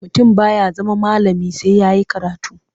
Mutum ba ya zama malami sai ya yi karatu.